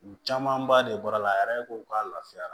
U camanba de bɔra la ko k'a lafiya